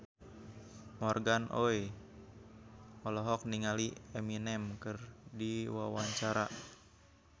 Morgan Oey olohok ningali Eminem keur diwawancara